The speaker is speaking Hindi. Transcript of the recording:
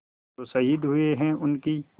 जो शहीद हुए हैं उनकी